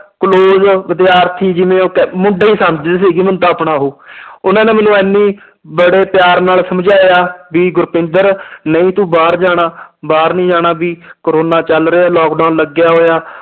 Close ਵਿਦਿਆਰਥੀ ਜਿਵੇਂ ਉਹ ਕਹਿ ਮੁੰਡਾ ਹੀ ਸਮਝਦੇ ਸੀਗੇ ਮੈਨੂੰ ਤਾਂ ਆਪਣਾ ਉਹ ਉਹਨਾਂ ਨੇ ਮੈਨੂੰ ਇੰਨੀ ਬੜੇ ਪਿਆਰ ਨਾਲ ਸਮਝਾਇਆ ਵੀ ਗੁਰਪਿੰਦਰ ਨਹੀਂ ਤੂੰ ਬਾਹਰ ਜਾਣਾ ਬਾਹਰ ਨੀ ਜਾਣਾ ਵੀ ਕੋਰੋਨਾ ਚੱਲ ਰਿਹਾ ਹੈ lockdown ਲੱਗਿਆ ਹੋਇਆ